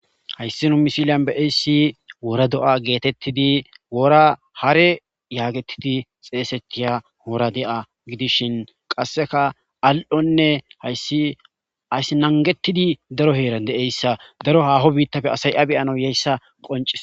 hayssi no misiliyan beeyssi wora do7a geetettidi wora hare yaagettidi xeesetiya hoora de7a gidishin qasseka al7onne hayssi ays nangetidi daro heeran deeyssa daro haaho biittafe asaya beyano yeyssa qonci